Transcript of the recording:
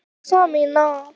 En ekki þið.